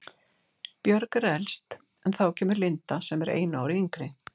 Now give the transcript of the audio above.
Björg er elst en þá kemur Linda sem er einu ári yngri.